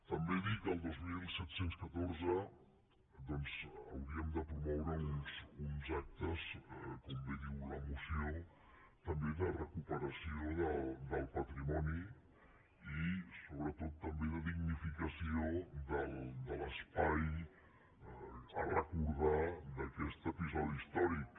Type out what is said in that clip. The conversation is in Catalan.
també dir que el dos mil catorze hauríem de promoure uns actes com bé diu la moció també de recuperació del patrimoni i sobretot també de dignificació de l’espai a recordar d’aquest episodi històric